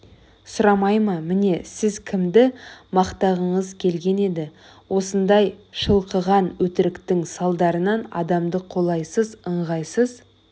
сұрамай ма міне сіз кімді мақтағыңыз келген еді осындай шылқыған өтіріктің салдарынан адамды қолайсыз ыңғайсыз